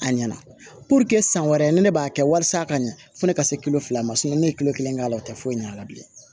A ɲɛna san wɛrɛ ni ne b'a kɛ walisa ka ɲa fo ne ka se kilo fila ma ne ye kilo kelen k'a la o tɛ foyi ɲ'a la bilen